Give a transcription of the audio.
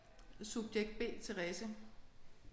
Subjekt B Therese